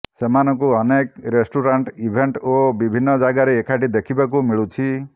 ସେମାନଙ୍କୁ ଅନେକ restaurant event ଓ ବିଭିନ୍ନ ଜାଗାରେ ଏକାଠି ଦେଖିବାକୁ ମିଳୁଛି